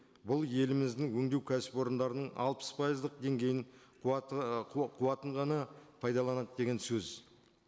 бұл еліміздің өндеу кәсіпорындарының алпыс пайыздық деңгейін қуатын ғана пайдаланады деген сөз